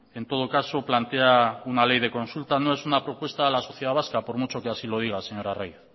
en todo caso plantea una ley de consulta no es una propuesta a la sociedad vasca por mucho que así lo diga señor arraiz